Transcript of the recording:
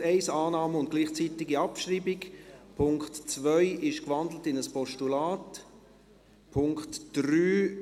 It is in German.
Punkt 1 Annahme und gleichzeitige Abschreibung, Punkt 2 ist gewandelt in ein Postulat, Punkt 3